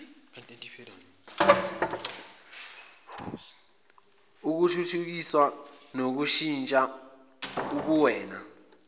ukuthuthukisa nokushintsha ubuwena